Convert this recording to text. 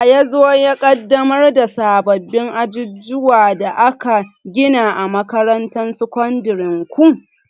Wa ya zo ya ƙaddamar da sabbin ajujuwan da aka gina a makarantar sakandiren ku?